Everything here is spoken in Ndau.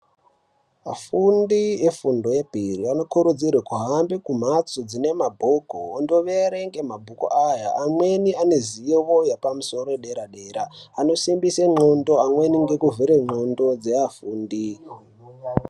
Vafundi vefundo yepiri vanokurudzirwa kuhambe kumbatso zvine mabhuku vandoverenga mabhuku aya amweni ane zivo yepamusoro yedera dera anosimbisa ngonxo amweni ndevekuvhura ngondxo dzevafundi.